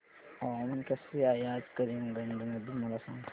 हवामान कसे आहे आज करीमगंज मध्ये मला सांगा